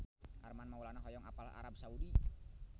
Armand Maulana hoyong apal Arab Saudi